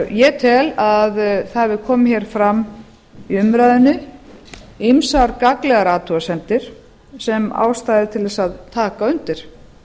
ég tel að það hafi komið hér fram í umræðunni ýmsar gagnlegar athugasemdir sem er ástæða til þess að taka undir